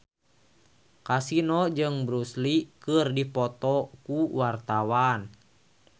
Kasino jeung Bruce Lee keur dipoto ku wartawan